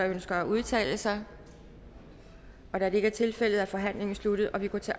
ønsker at udtale sig da det ikke er tilfældet er forhandlingen sluttet og vi går til